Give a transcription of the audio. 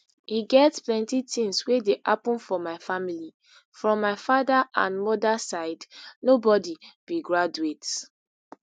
e get plenti tins wey dey happun for my family from my father and mother side nobody be graduate